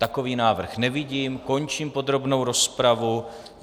Takový návrh nevidím, končím podrobnou rozpravu.